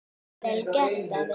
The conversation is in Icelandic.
Vel gert, afi.